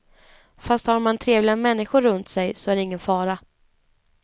Fast har man trevliga människor runt sig så är det ingen fara.